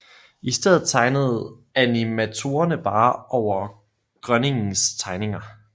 I stedet tegnede animatorerne bare over Groenings tegninger